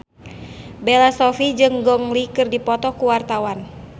Bella Shofie jeung Gong Li keur dipoto ku wartawan